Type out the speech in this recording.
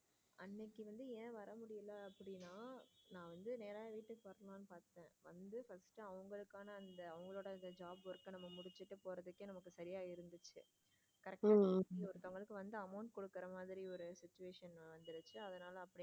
First அவங்களுக்கான அந் job work நம்ம முடிச்சுட்டு போறதுக்கு நமக்கு சரியா இருந்துச்சு correct ஆ அப்படி ஒருத்தவங்களுக்கு amount கொடுக்கிற மாதிரி ஒரு situation வந்திருக்கு அதனால.